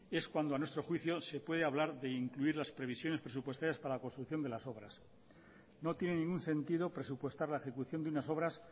es cuando a nuestro juicio se puede hablar de incluir las previsiones presupuestarias para la construcción de las obras no tiene ningún sentido presupuestar la ejecución de unas obras